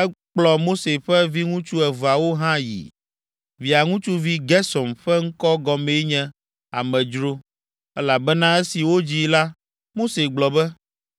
Ekplɔ Mose ƒe viŋutsu eveawo hã yii. Via ŋutsuvi Gersom ƒe ŋkɔ gɔmee nye, “Amedzro,” elabena esi wodzii la, Mose gblɔ be,